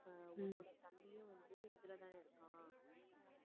அஹ் உன்னோட தம்பியும் வந்து இதுலதான் இருக்கான்